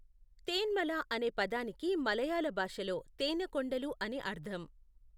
తేన్మల అనే పదానికి మలయాళ భాషలో తేనె కొండలు అని అర్థం.